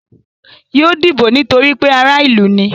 Yóò dìbò nítorí pé ará ìlú ni.